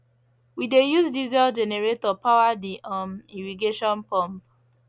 we dey use diesel generator power the um irrigation pump